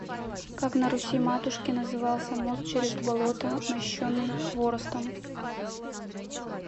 как на руси матушке назывался мост через болото мощенный хворостом